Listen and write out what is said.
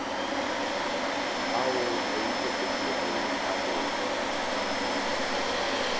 ao a ikepetšego a go